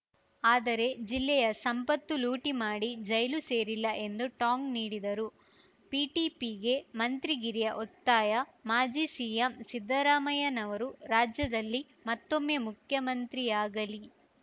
ಆದರೆ ಜಿಲ್ಲೆಯ ಸಂಪತ್ತು ಲೂಟಿ ಮಾಡಿ ಜೈಲು ಸೇರಿಲ್ಲ ಎಂದು ಟಾಂಗ್‌ ನೀಡಿದರು ಪಿಟಿಪಿಗೆ ಮಂತ್ರಿಗಿರಿಯ ಒತ್ತಾಯ ಮಾಜಿ ಸಿಎಂ ಸಿದ್ದರಾಮಯ್ಯನವರು ರಾಜ್ಯದಲ್ಲಿ ಮತ್ತೊಮ್ಮೆ ಮುಖ್ಯಮಂತ್ರಿಯಾಗಲಿ